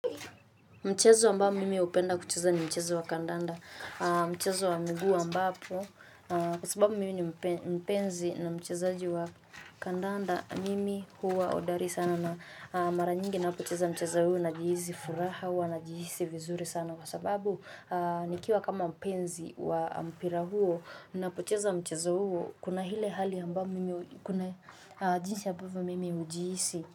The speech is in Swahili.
Mchezo ambao mimi hupenda kucheza ni mchezo wa kandanda, mchezo wa miguu ambapo, kwa sababu mimi ni mpenzi na mchezaji wa kandanda, mimi huwa hodari sana na mara nyingi napocheza mchezo huo najihisi furaha, huwa najihisi vizuri sana, kwa sababu nikiwa kama mpenzi wa mpira huo, napocheza mchezo huo, kuna ile hali ambayo mimi kuna jinsi ambavyo mimi hijihisi.